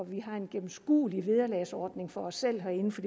vi har en gennemskuelig vederlagsordning for os selv herinde for